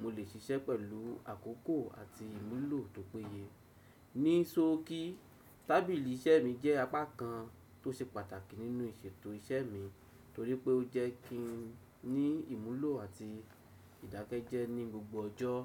mo lè ṣiṣẹ́ pẹ̀lú àkókò àti ìmúlò tó péye. Ní sókí, tábìlì iṣẹ́ mi jẹ́ apá kan tó ṣe pàtàkì nínú ìṣètò iṣẹ́ mi nítorí pé ó jẹ́ kí n ní ìmúlò àti ìdákẹ́jẹ́ ní gbogbo ọjọ́.